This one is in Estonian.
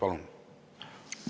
Palun!